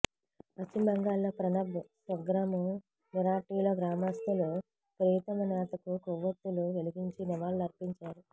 పశ్చిమబెంగాల్లోని ప్రణబ్ స్వగ్రామం మిరాటీలో గ్రామస్తులు ప్రియతమ నేతకు కొవ్వొత్తులు వెలిగించి నివాళులర్పించారు